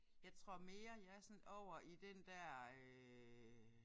Jeg tror mere jeg er sådan over i den der øh